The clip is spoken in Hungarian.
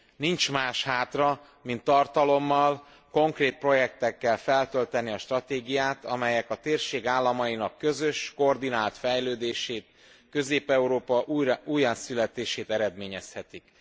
Nincs más hátra, mint tartalommal, konkrét projektekkel felölteni a stratégiát, amelyek a térség államainak közös, koordinált fejlődését, Közép Európa újjászületését eredményezhetik.